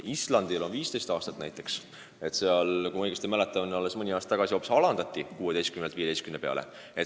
Islandil on 15 aastat näiteks – kui ma õigesti mäletan, siis mõni aasta tagasi alandati seda piiri 16-lt 15 aasta peale.